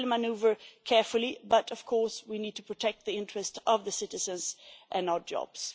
we will manoeuvre carefully, but of course we need to protect the interests of the citizens and our jobs.